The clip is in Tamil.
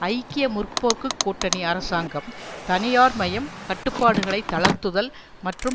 ஐக்கிய முற்போக்கு கூட்டணி அரசாங்கம் தனியார்மயம் கட்டுப்பாடுகளை தளர்த்துதல் மற்றும்